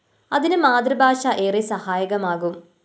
അതിന് മാതൃഭാഷ ഏറെ സഹായകമാകും